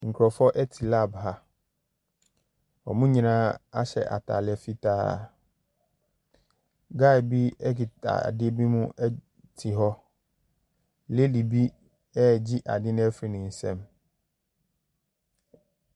Nkurofoɔ ɛte lab ha. Ɔmo nyinaa ahyɛ ntaadeɛ fitaa. Gae bi ekita ade bi mu ɛte hɔ. Ladi bi ɛgye adeɛ no efiri ne nsam.